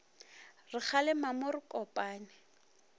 re kgalema mo re kopane